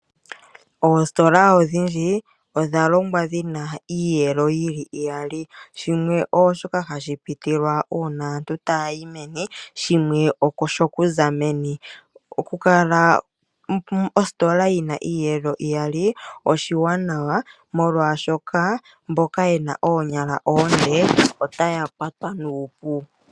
Oositola odhindji odha longwa dhi na iiyelo iyali. Shimwe ooshoka hashi pitilwa uuna aantu taya yi meni, shimwe osho ku za meni. Okukala ositola yi na omiyelo mbali oshiwanawa, molwashoka mboka ye na oonyala oonde otaya kwatwa nuupu.